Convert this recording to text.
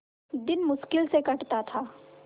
दिन मुश्किल से कटता था